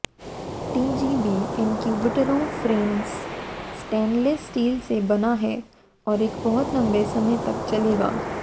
TGB इन्क्यूबेटरों frame stainless steel से बना है और एक बहुत लंबे समय तक चलेगा